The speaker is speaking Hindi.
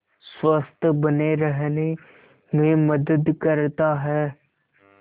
स्वस्थ्य बने रहने में मदद करता है